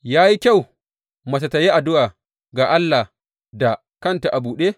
Ya yi kyau mace tă yi addu’a ga Allah da kanta a buɗe?